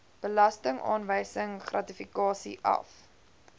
belastingaanwysing gratifikasie af